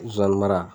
Zonzani mara